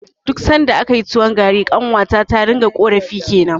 Duk sanda akayi tuwon gari, ƙanwata ta ringa ƙorafi kenan.